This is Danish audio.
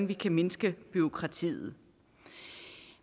vi kan mindske bureaukratiet